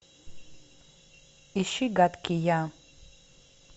ищи гадкий я